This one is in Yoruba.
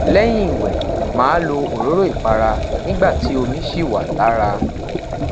lẹyin iwẹ maa lo ororo ipara nigba ti omi ṣi wa lara